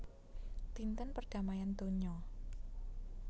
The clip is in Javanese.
Dinten perdamaian donya